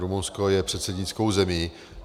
Rumunsko je předsednickou zemí.